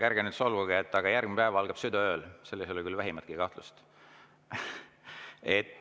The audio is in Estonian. Ärge nüüd solvuge, aga järgmine päev algab südaööl, selles ei ole küll vähimatki kahtlust.